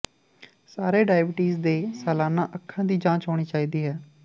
ਸਾਰੇ ਡਾਇਬੀਟੀਜ਼ ਦੇ ਸਾਲਾਨਾ ਅੱਖਾਂ ਦੀ ਜਾਂਚ ਹੋਣੀ ਚਾਹੀਦੀ ਹੈ